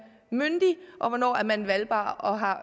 myndig og hvornår man er valgbar og har